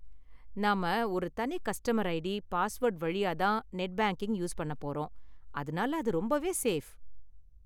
நாம ஒரு தனி கஸ்டமர் ஐடி, பாஸ்வேர்டு வழியா தான் நெட் பேங்கிங் யூஸ் பண்ண போறோம், அதனால அது ரொம்பவே சேஃப்.